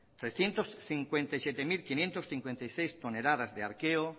trescientos cincuenta y siete mil quinientos cincuenta y seis toneladas de arqueo